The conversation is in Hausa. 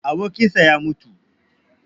Abokinshi ya mutu